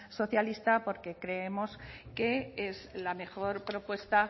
socialista porque creemos que es la mejor propuesta